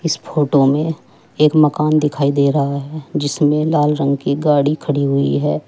इस फोटो में एक मकान दिखाई दे रहा है जिसमें लाल रंग की गाड़ी खड़ी हुई है।